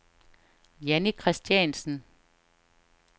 Janni Kristiansen